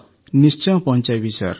ନିଶ୍ଚୟ ପହଞ୍ଚାଇବି ସାର୍